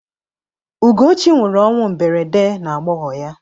Ugochi nwụrụ ọnwụ mberede n'agbọghọ ya.